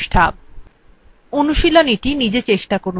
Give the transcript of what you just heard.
অনুশীলনীtry নিজে চেষ্টা করুন